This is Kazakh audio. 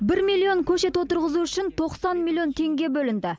бір миллион көшет отырғызу үшін тоқсан миллион теңге бөлінді